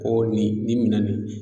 Ko nin nin minɛn nin joli be ye